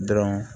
Dɔrɔn